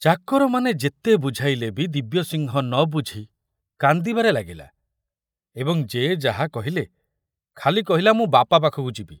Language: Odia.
ଚାକରମାନେ ଯେତେ ବୁଝାଇଲେ ବି ଦିବ୍ୟସିଂହ ନ ବୁଝି କାନ୍ଦିବାରେ ଲାଗିଲା ଏବଂ ଯେ ଯାହା କହିଲେ ଖାଲି କହିଲା, ମୁଁ ବାପା ପାଖକୁ ଯିବି।